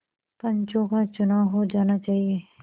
पंचों का चुनाव हो जाना चाहिए